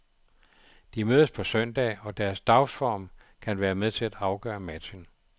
De mødes på søndag og deres dagsform kan være med til at afgøre matchen.